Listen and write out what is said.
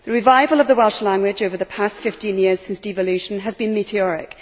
The revival of the Welsh language over the past 15 years since devolution has been meteoric.